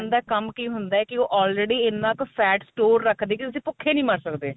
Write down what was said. ਦਾ ਕੰਮ ਕੀ ਹੁੰਦਾ ਕੀ ਉਹ already ਇੰਨਾ ਕ fat store ਰੱਖਦੀ ਕੀ ਤੁਸੀਂ ਭੁੱਖੇ ਨਹੀਂ ਮਰ ਸਕਦੇ